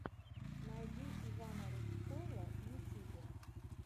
найди ивана рудского в ютюбе